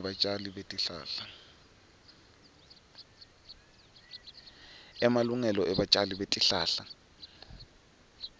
ebatjali betihlahla